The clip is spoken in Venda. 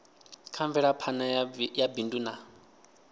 kha mvelaphana ya bindu na